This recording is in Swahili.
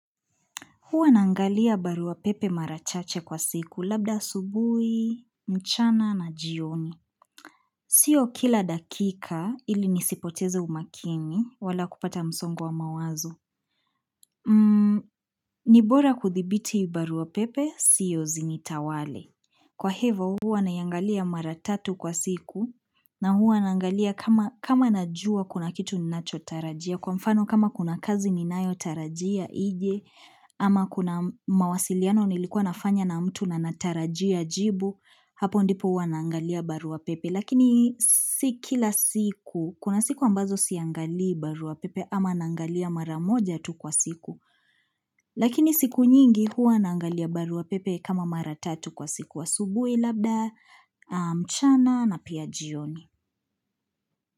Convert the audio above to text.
Huwa naangalia barua pepe mara chache kwa siku, labda asubui, mchana na jioni. Sio kila dakika ili nisipoteze umakini wala kupata msongo wa mawazo. Ni bora kuthibiti barua pepe, sio zinitawale. Kwa hivo huwa naiangalia maratatu kwa siku na huwa naangalia kama najua kuna kitu ninachotarajia. Kwa mfano kama kuna kazi ninayo tarajia ije, ama kuna mawasiliano nilikuwa nafanya na mtu na natarajia jibu, hapo ndipo huwa naangalia barua pepe. Lakini si kila siku, kuna siku ambazo siangalii barua pepe ama naangalia mara moja tu kwa siku. Lakini siku nyingi huwa naangalia barua pepe kama mara tatu kwa siku asubuhi labda, mchana na pia jioni.